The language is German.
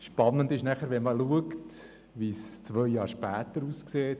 Spannend ist, zu schauen, wie es zwei Jahre später aussah.